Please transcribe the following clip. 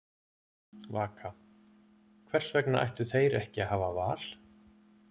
Vaka: Hvers vegna ættu þeir ekki að hafa val?